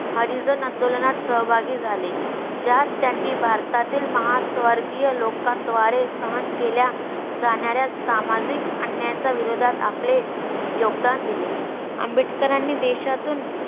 हरिजन आंदोलनात सहभागी झाले. ज्यात त्यांनी भारतातील महास्वर्गीय लोकांद्वारे सहन केल्या जाणाऱ्या सामाजिक अन्यायाच्या विरोधात आपले योगदान दिले. आंबेडकरांनी देशातून